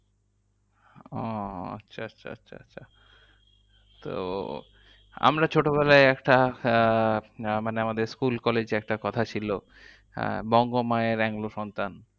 ওহ আচ্ছা আচ্ছা আচ্ছা আচ্ছা তো আমরা ছোটবেলায় একটা আহ মানে আমাদের school collage এ একটা কথা ছিল, আহ বঙ্গ মায়ের এংলো সন্তান।